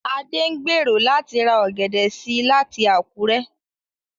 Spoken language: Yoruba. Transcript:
Adé ń gbèrò láti ra ọ̀gẹ̀dẹ̀ sí láti Àkúrẹ́